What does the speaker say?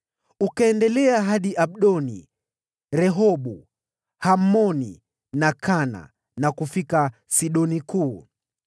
Ukaendelea hadi Abdoni, Rehobu, Hamoni na Kana, na kufika Sidoni Kuu.